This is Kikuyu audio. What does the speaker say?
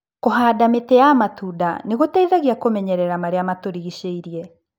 Kũhanda mĩtĩ ya matunda nĩgũteithagia kũmenyerera marĩa matũrigicĩirie.